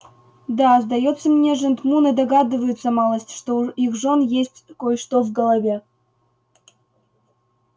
да сдаётся мне жентмуны догадываются малость что у их жён есть кой-что в голове